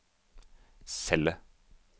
celle